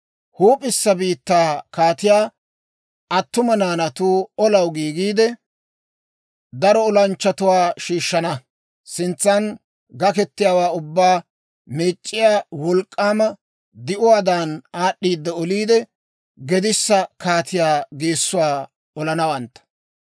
«Huup'issa biittaa kaatiyaa attuma naanatuu olaw giigiide, daro olanchchatuwaa shiishshana; sintsan gakketiyaawaa ubbaa meec'c'iyaa wolk'k'aama di'uwaadan, aad'd'iidde oliide, gedissa kaatiyaa geessuwaa olanawantta.